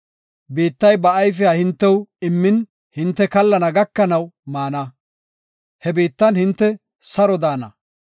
Biittay ba ayfiya hintew immin hinte kallana gakanaw maana; he biittan hinte saro daana.